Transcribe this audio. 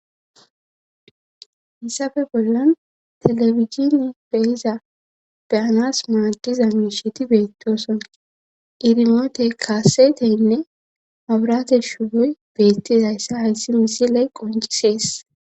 Hissafe bollan telefizin beiza beyanas maadiza miisheti beettoson irimote kaaseteynne aburate shugoy beettidayssa hayssi misiley qoncisees.